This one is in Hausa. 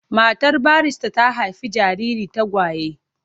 Matar barista ta haifi jarirai tagwaye.